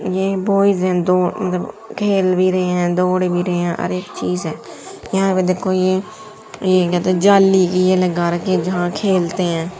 ये बॉयज है दो उन्द खेल भी रहे है दौड़ भी रहे है और एक चीज है यहां पर देखो ये ये कहते है जाली की ये लगा रखी है जहां खेलते है।